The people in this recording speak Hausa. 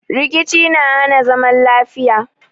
Rkici na hana zaman lafiya.